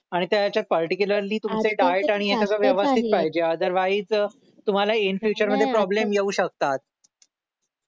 आणि त्या ह्याच्यात पर्टिक्युलरली तुमचे डाएट आणि हे सगळं व्यवस्थित पाहिजे आदर वाईज तुम्हाला इन फ्युचर मध्ये प्रॉब्लेम येऊ शकतात